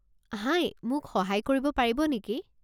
হাই, মোক সহায় কৰিব পাৰিব নেকি?